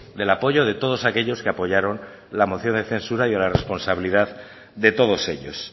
del apoyo de todos aquellos que apoyaron la moción de censura y a la responsabilidad de todos ellos